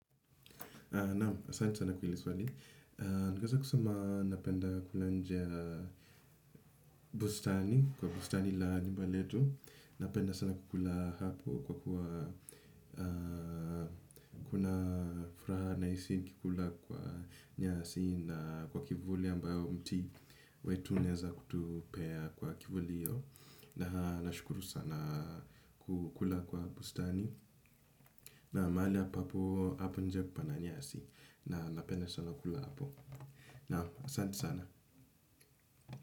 Naam, asante sana kwenye swali. Ningeweza kusema napenda kula nje bustani, kwa bustani la nyumba letu. Napenda sana kukula hapo kwa kuwa kuna furaha nahisi nikikula kwa nyasi na kwa kivuli ambayo mti wetu unaweza kutupea kwa kivuli hiyo. Na, nashukuru sana kukula kwa bustani. Na mahali hapa hapo nje pana nyasi na napenda sana kula hapo. Asante sana.